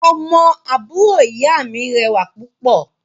Ọmọ àbúrò ìyá mi rẹwà púpọ̀